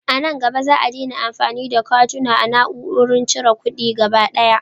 A nan gaba, Za a daina amfani da katuna a na'urorin cire kuɗi gaba daya.